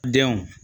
Denw